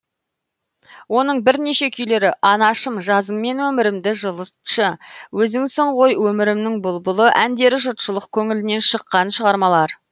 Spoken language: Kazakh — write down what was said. оның бірнеше күйлері анашым жазыңмен өмірімді жылытшы өзіңсің ғой өмірімнің бұлбұлы әндері жұртшылык көңілінен шыққан шығармалар